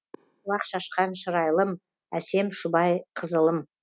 шуақ шашқан шырайлым әсем шұбайқызылым